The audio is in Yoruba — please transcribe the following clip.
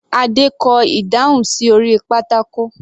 Adé kọ ìdáhùn sí orí pátákó.